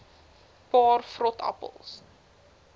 paar vrot appels